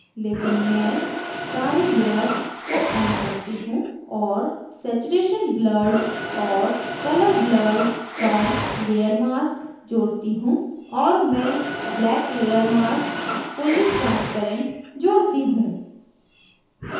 लेकिन मैं सारी layers को on करती हूँ और saturation blurred और colour blurred पर layer mask जोड़ती हूँ और मैं black layer mask fully transparent जोड़ती हूँ